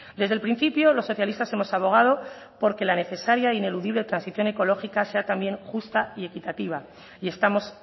desde el principio los socialistas hemos abogado porque la necesaria e ineludible transición ecológica sea también justa y equitativa y estamos